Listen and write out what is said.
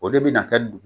O de bɛna kɛ dugu